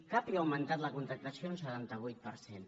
capio ha augmentat la contractació un setanta vuit per cent